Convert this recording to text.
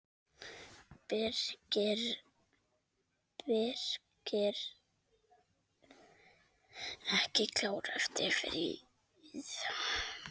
Birkir ekki klár eftir fríið?